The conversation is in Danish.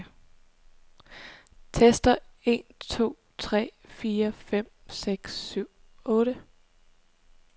Tester en to tre fire fem seks syv otte.